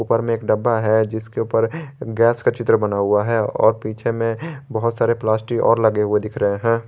ऊपर में एक डब्बा है जिसके ऊपर गैस का चित्र बना हुआ है और पीछे में बहुत सारे प्लास्टिक और लगे हुए दिख रहे हैं।